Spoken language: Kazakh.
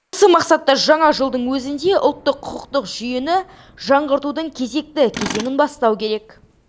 осы мақсатта жаңа жылдың өзінде ұлттық құқықтық жүйені жаңғыртудың кезекті кезеңін бастау керек